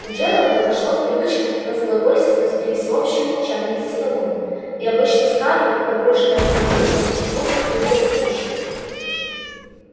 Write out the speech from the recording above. у джералда вошло в привычку разглагольствовать при всеобщем молчании за столом и обычно скарлетт погруженная в свои мысли попросту его не слушала